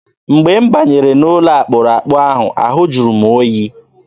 Mgbe m banyere n'ime ụlọ akpụrụakpụ ahụ, ahụ jụrụ oyi.